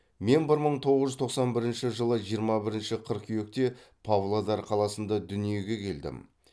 мен бір мың тоғыз жүз тоқсан бірінші жылы жиырма бірінші қыркүйекте павлодар қаласында дүниеге келдім